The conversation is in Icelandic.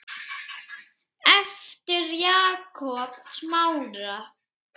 eftir Jakob Smára.